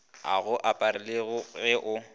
a go aparelago ge o